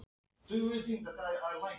En fjarbúð hlýtur að reyna á sambandið.